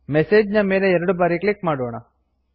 message ನ ಮೇಲೆ ಎರಡು ಬಾರಿ ಕ್ಲಿಕ್ ಮಾಡೋಣ